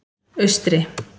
Austri